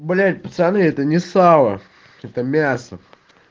блять пацаны это не сало это мясо